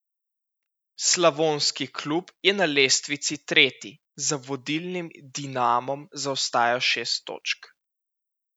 Slavonski klub je na lestvici tretji, za vodilnim Dinamom zaostaja šest točk.